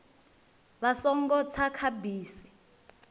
vha songo tsa kha bisi